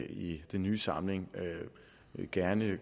i den nye samling gerne